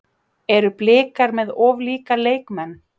Eru Blikar með of líka leikmenn?